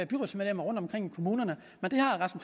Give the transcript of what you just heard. byrådsmedlemmer rundtomkring i kommunerne men det